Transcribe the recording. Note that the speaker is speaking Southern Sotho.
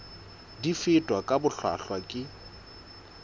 di fetwa ka bohlwahlwa ke